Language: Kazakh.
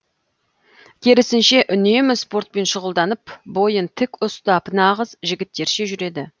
керісінше үнемі спортпен шұғылданып бойын тік ұстап нағыз жігіттерше жүреді